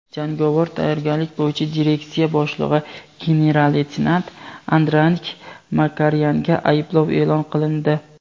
jangovar tayyorgarlik bo‘yicha direksiya boshlig‘i general-leytenant Andranik Makaryanga ayblov e’lon qilindi.